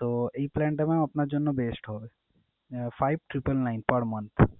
তো এই plan টা mam আপনার জন্য best হবে ah five triple nine per month ।